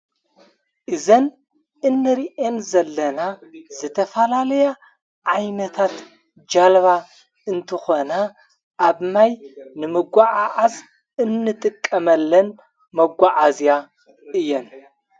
እዘን እንርኤን ዘለና ዘተፋላለያ ዓይነታት ጃለባ እንትኾና ኣብ ማይ ንምጐዓዓዝ እንጥቀመለን መጕዓእዝያ እየን።